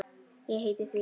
Ég heiti því.